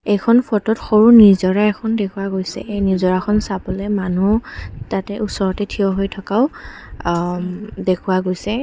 এইখন ফটোত সৰু নিজৰা এখন দেখুওৱা গৈছে এই নিজৰাখন চাবলৈ মানুহ তাতে ওচৰতে থিয় হৈ থকাও অ উম দেখুওৱা গৈছে।